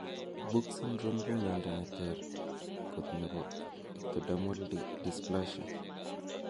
Book syndrome ko Mondo neter kot nepo ectodermal dysplasia.